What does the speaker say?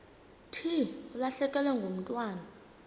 thi ulahlekelwe ngumntwana